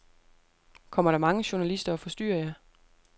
Kommer der mange journalister og forstyrrer jer?